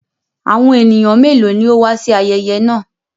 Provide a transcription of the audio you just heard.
Àwọn ènìyàn mélòó ni ó wà sí ayẹyẹ náà?